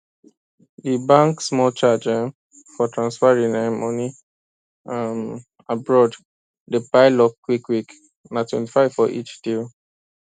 di bank small charge um for transferring um money um abroad dey pile up quickquick na twenty five for each deal